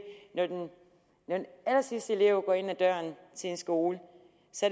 når den allersidste elev går ind ad døren til en skole